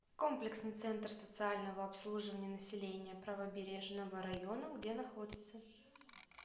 комплексный центр социального обслуживания населения правобережного района где находится